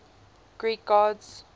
greek gods